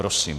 Prosím.